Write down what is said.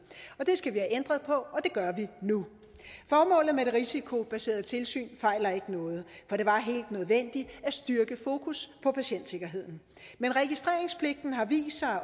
og det skal vi have ændret på og det gør vi nu formålet med det risikobaserede tilsyn fejler ikke noget for det var helt nødvendigt at styrke fokus på patientsikkerheden men registreringspligten har vist sig